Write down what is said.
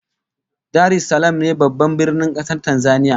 Dar es Salaam ne Babban Birnin kasar Tanzania